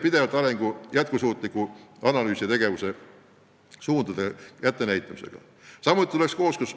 Pidevalt jätkusuutliku arengu analüüsi ja tegevussuundade kättenäitamisega ei tegelda.